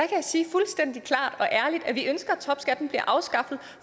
kan sige fuldstændig klart og ærligt at vi ønsker at topskatten bliver afskaffet